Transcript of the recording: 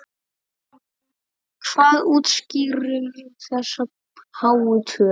Hvað útskýrir þessa háu tölu?